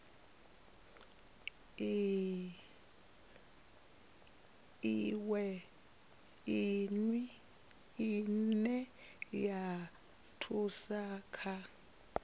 iwe ine ya thusa kha